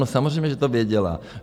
No samozřejmě, že to věděla.